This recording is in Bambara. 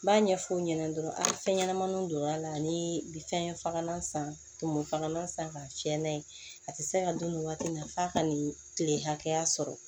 N b'a ɲɛf'o ɲɛnɛ dɔrɔn a fɛn ɲɛnɛmaniw donn'a la ani bi fɛn fagalan san tumu fagalan san ka fiyɛ n'a ye a tɛ se ka dun nin waati in na f'a ka nin tile hakɛya sɔrɔ